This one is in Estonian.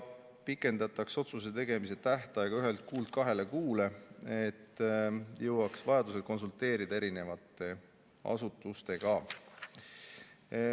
Otsuse tegemise tähtaega pikendatakse ühelt kuult kahele kuule, et jõuaks vajadusel konsulteerida erinevate asutustega.